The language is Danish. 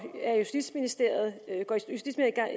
justitsministeriet